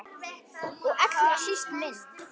Og allra síst minn.